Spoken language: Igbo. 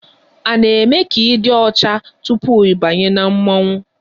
A na-eme ka ị dị ọcha tupu ị banye na mmọnwụ?